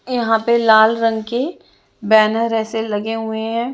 यहाँ पे लाल रंग की बैनर ऐसे लगे हुए है।